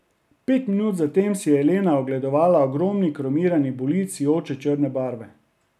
Pet minut zatem si je Elena ogledovala ogromni kromirani bolid sijoče črne barve.